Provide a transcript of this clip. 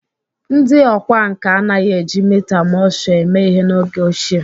Ndị ọkwá nkà anaghị eji mita Mosture eme ihe n'oge ochie